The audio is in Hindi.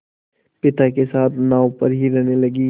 पिता के साथ नाव पर ही रहने लगी